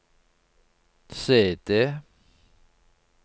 CD